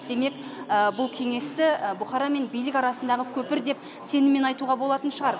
демек бұл кеңесті бұқара мен билік арасындағы көпір деп сеніммен айтуға болатын шығар